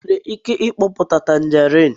ị nwere ike mkpoputa tanjerịn?